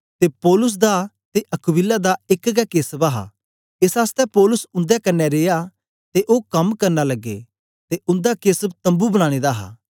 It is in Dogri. ते पौलुस दा ते अक्विला दा एक गै केसव हा एस आसतै पौलुस उन्दे कन्ने रिया ते ओ कम करना लगे ते उन्दा केसव तम्बू बनाने दा हा